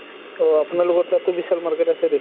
অহ আপোনালোকৰ তাতো বিশাল market আছে দেখুন